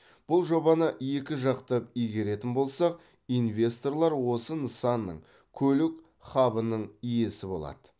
бұл жобаны екі жақтап игеретін болсақ инвесторлар осы нысанның көлік хабының иесі болады